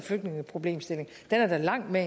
flygtningeproblemstillingen er langt mere